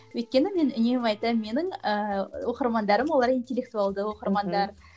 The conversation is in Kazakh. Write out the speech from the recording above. өйткені мен үнемі айтамын менің ііі оқырмандарым олар интелектуалды оқырмандар